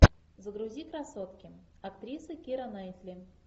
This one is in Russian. загрузи красотки актриса кира найтли